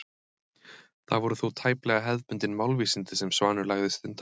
Það voru þó tæplega hefðbundin málvísindi sem Svanur lagði stund á.